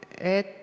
Hea juhataja!